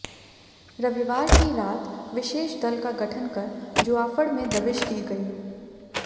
रविवार की रात विशेष दल का गठन कर जुआफड़ में दबिश दी गई